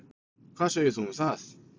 Hvað segir þú um það?